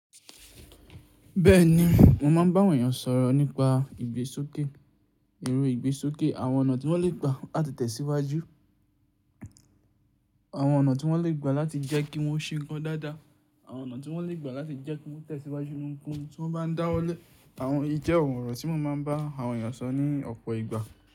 Bẹ́ẹ̀ni, mo máa ń bá àwọn ènìyàn sọ̀rọ̀ nípa ìgbésókè, èrọ ìgbésókè, àwọn ọ̀nà tí wọ́n lè gba láti tẹ̀síwájú, àwọn ọ̀nà tí wọ́n lè gba láti jẹ́ kí wọ́n sì ń gán dáadáa, àwọn ọ̀nà tí wọ́n lè gba láti jẹ́ kí wọ́n tẹ̀síwájú nínú ohunkóhun tí wọ́n bá ń dáwọ́lẹ́. Àwọn yìí jẹ́ ọ̀rọ̀ tí mo máa ń bá àwọn ènìyàn sọ ní ọ̀pọ̀ ìgbà.